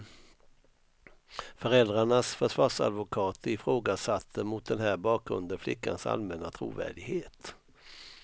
Föräldrarnas försvarsadvokater ifrågasatte mot den här bakgrunden flickans allmänna trovärdighet.